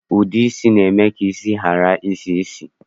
Ude isi na-eme ka isi ghara isi ísì